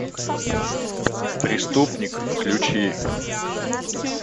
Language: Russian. преступник включи